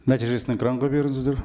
нәтижесін экранға беріңіздер